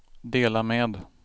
dela med